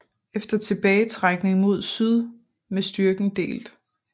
Efter tilbagetrækning mod syd med styrken delt